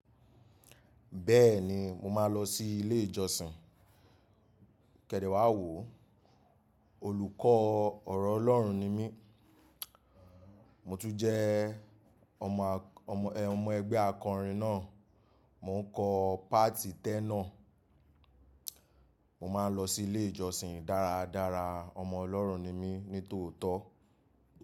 Bẹ́ẹ̀ ni, mo máa ń lọ sí ilé ìjọsìn. Kẹ̀dẹ́ wá wò ó, olùkọ́ ọ̀rọ̀ Ọlọ́run ni mí. Mo tún jẹ́ ọmọ, ọmọ, ẹ, ọmọ ẹgbẹ́ akọrin náà. Mo ń kọ páàtì tẹ́nà. Mo máa ń lọ sí ilé ìjọsìn dáradára. Ọmọ Ọlọ́run ni mí ní tòótọ́